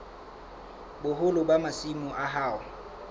boholo ba masimo a hao